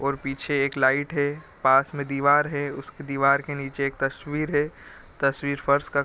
और पीछे एक लाइट है पास में दीवार है उसके दीवार के नीचे एक तस्वीर है तस्वीर फर्श का --